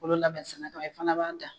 Bolo labɛn sɛnɛ e fɛnɛ b'a dan